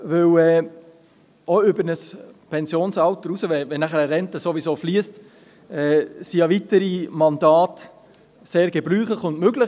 Auch über ein Pensionsalter hinaus, wenn eine Rente sowieso fliesst, sind weitere Mandate sehr gebräuchlich und möglich.